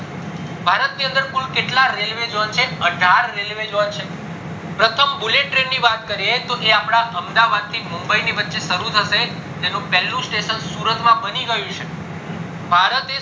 ભારત ની અંદર કુલ કેટલા railway zone છે કુલ અઢાર railway zone છે પ્રથમ bullet train ની વાત કરીએ તો એ અપડા અમદાવાદ ના મુંબઈ ની વચે શરુ થશે જેનું પેલ્લું station સુરત માં બની ગયું છે